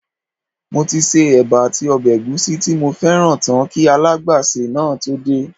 Mo ti se éba àti ọbẹ̀ ègúsí tí mo fẹ́ràn tán kí alágbàsè náà tó dé